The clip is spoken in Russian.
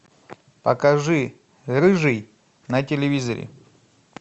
покажи рыжий на телевизоре